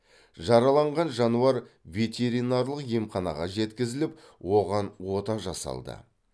жараланған жануар ветеринарлық емханаға жеткізіліп оған ота жасалды